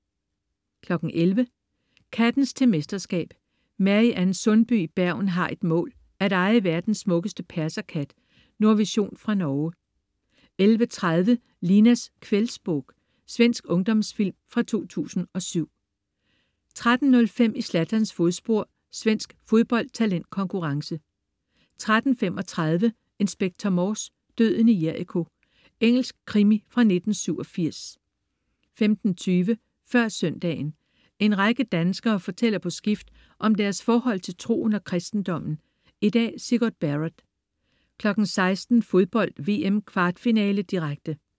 11.00 Kattens til mesterskab. Mary-Ann Sundby i Bergen har et mål: At eje verdens smukkeste perserkat. Nordvision fra Norge 11.30 Linas Kvällsbok. Svensk ungdomsfilm fra 2007 13.05 I Zlatans fodspor. Svensk fodboldtalentkonkurrence 13.35 Inspector Morse: Døden i Jericho. Engelsk krimi fra 1987 15.20 Før søndagen. En række danskere fortæller på skift om deres forhold til troen og kristendommen. I dag: Sigurd Barrett 16.00 Fodbold: VM. Kvartfinale, direkte